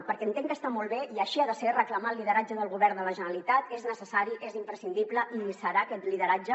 perquè entenc que està molt bé i així ha de ser reclamar el lideratge del govern de la generalitat és necessari és imprescindible i hi serà aquest lideratge